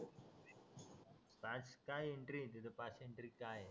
pass चा entry आहे तिथे पास काय आहे